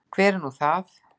Hver er nú það?